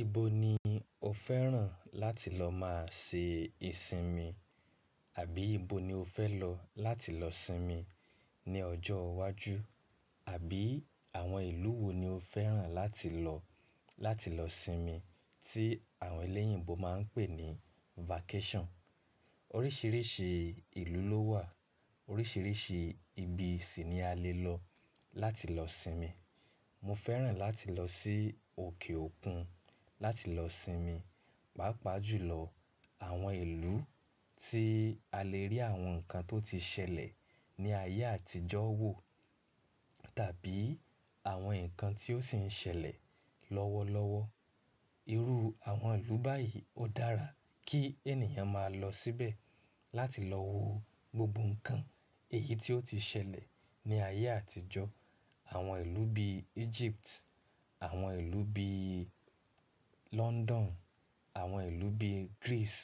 Ibo ni o fẹ́ràn láti lọ máa ṣe ìsinmi? Àbí ibo ni o fẹ́ lọ láti lọ sinmi ní ọjọ́ iwájú? Àbí àwọn ìlú wo ni o fẹ́ràn láti lọ láti lọ sinmi tí àwọn elẹ́yìnbo máa ń pè ní vacation? Oríṣìíríṣìí ìlú ló wà, oríṣìíríṣìí ibi sì ni a lè lọ láti lọ sinmi. Mo fẹ́ràn láti lọ sí òkè òkun láti lọ sinmi, pàápàá jùlọ àwọn ìlú tí a lè rí àwọn nǹkan tó ti ṣẹlẹ̀ ní ayé àtijọ́ wò tàbí àwọn nǹkan tí ó ṣì ń ṣẹlẹ̀ lọ́wọ́lọ́wọ́. Irú àwọn ìlú báyìí ó dára kí ènìyàn máa lọ síbẹ̀ láti lọ wo gbogbo nǹkan èyí tí ó ti ṣẹlẹ̀ ní ayé àtijọ́. Àwọn ìlú bí Egypt, àwọn ìlú bí London, àwọn ìlú bí Greece,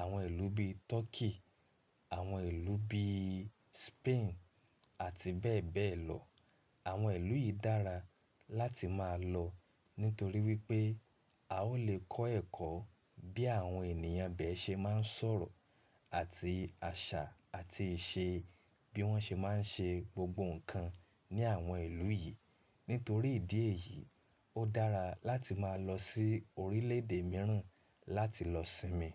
àwọn ìlú bí Turkey, àwọn ìlú bí Spain àti bẹ́ẹ̀ bẹ́ẹ̀ lọ. Àwọn ìlú yìí dára láti máa lọ nítorí wípé a ó lè kọ́ ẹ̀kọ́ bí àwọn ènìyàn bẹ́ẹ̀ ṣe máa ń sọ̀rọ̀ àti àṣà àti ìṣe bí wọ́n ṣe máa ń ṣe gbogbo nǹkan ní àwọn ìlú yìí. Nítorí ìdí èyí, ó dára láti máa lọ sí orílẹ̀èdè mìíràn láti lọ sinmi.